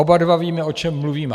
Oba dva víme, o čem mluvíme.